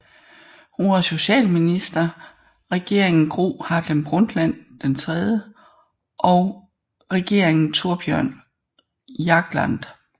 Hun var socialminister Regeringen Gro Harlem Brundtland III og Regeringen Thorbjørn Jagland